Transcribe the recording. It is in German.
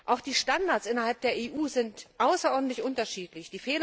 Auch die Standards innerhalb der EU sind außerordentlich unterschiedlich.